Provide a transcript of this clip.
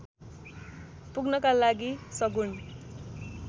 पुग्नका लागि सगुण